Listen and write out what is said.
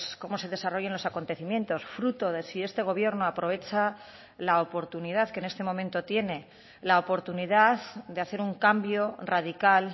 cómo se desarrollen los acontecimientos fruto de si este gobierno aprovecha la oportunidad que en este momento tiene la oportunidad de hacer un cambio radical